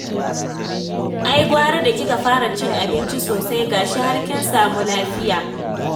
Ai gwara da kika fara cin abinci sosai, ga shi har kin samu lafiya